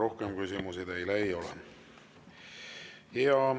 Rohkem küsimusi teile ei ole.